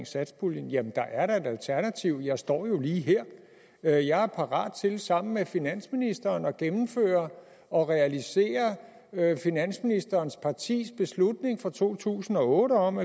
satspuljen jamen der er da et alternativ jeg står jo lige her jeg jeg er parat til sammen med finansministeren at gennemføre og realisere finansministerens partis beslutning fra to tusind og otte om